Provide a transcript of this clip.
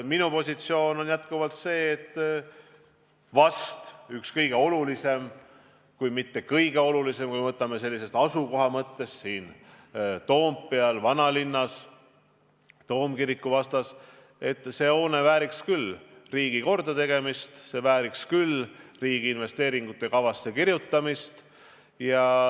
Minu positsioon on endiselt see, et kui me lähtume selle hoone asukohast Toompeal, vanalinnas, Toomkiriku vastas, siis vääriks see hoone küll riigipoolset kordategemist, riigi investeeringute kavasse kirjutamist.